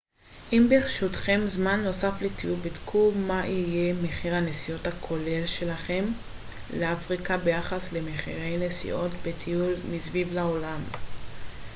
אם ברשותכם זמן נוסף לטיול בדקו מה יהיה מחיר הנסיעות הכולל שלכם לאפריקה ביחס למחירי נסיעות בטיול מסביב לעולם